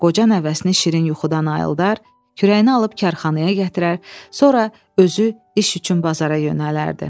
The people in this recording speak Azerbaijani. Qoca nəvəsini şirin yuxudan ayıldar, kürəyinə alıb karxanaya gətirər, sonra özü iş üçün bazara yönələrdi.